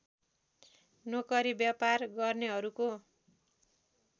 नोकरी व्यापार गर्नेहरूको